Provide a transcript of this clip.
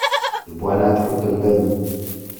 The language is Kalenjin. Ipwanat kutung'ndo nyi.